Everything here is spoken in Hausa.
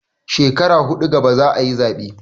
Shekara huɗu gaba za a yi zaɓe.